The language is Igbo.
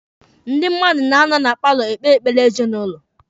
Ndị mmadụ na-anọ na paalọ ekpe ekpere ezinụlọ.